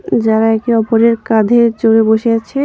যারা একে অপরের কাঁধে চড়ে বসে আছে।